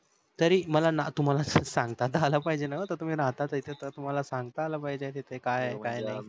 तरी मला ना तुम्हाला सांगता त आला पाहिजे न आता तुम्ही राहता तिथ त तुम्हाला सांगता अल पाहिजे तिथ काय आहे काय नाही